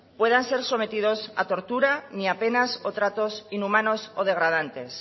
puedan ser sometidos a torturas ni a penas o tratos inhumanos o degradantes